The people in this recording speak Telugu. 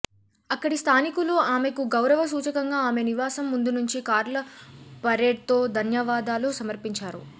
అక్కడి స్థానికులు ఆమెకు గౌరవ సూచకంగా ఆమె నివాసం ముందు నుంచి కార్ల పరేడ్తో ధన్యవాదాలు సమర్పించారు